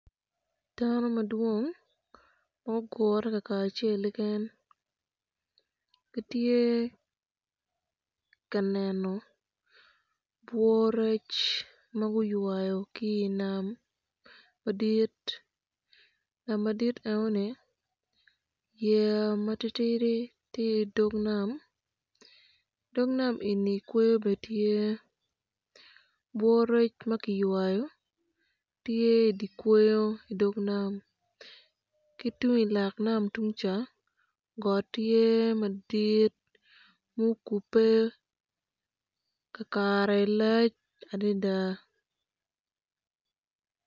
Dano madwong ma gugure lakacel gitye ka neno obwo rec ma guywayo ki i nam madit nam madit nenoni yeya matitidi tye i dog nam. Dog nam eni kweyo bene tye obowo rec ma kiywayo bene tye i kweyo i dog nam ki tung i loka nam tung ca got tye madit mukubbe kakare lac adada.